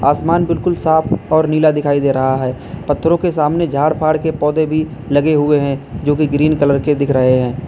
असमान बिल्कुल साफ और नीला दिखाई दे रहा है पत्थरों के सामने झाड़ फाड़ के पौधे भी लगे हुए हैं जोकि ग्रीन कलर के दिख रहे हैं।